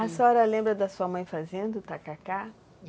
A senhora lembra da sua mãe fazendo tacacá?